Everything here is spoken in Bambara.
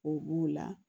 O b'o la